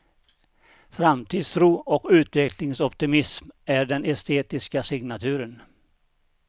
Framtidstro och utvecklingsoptimism är den estetiska signaturen.